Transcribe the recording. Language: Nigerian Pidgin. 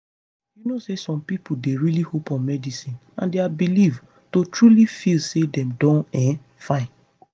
you know say some pipo dey really hope on medicine and dia belief to truly feel say dem don um fine